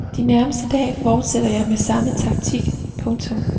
De nærmeste dage forsætter jeg med samme taktik. punktum